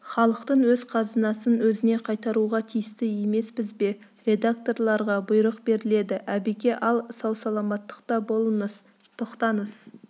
халықтың өз қазынасын өзіне қайтаруға тиісті емеспіз бе редакторларға бұйрық беріледі әбеке ал сау-саламаттықта болыңыз тоқтаңыз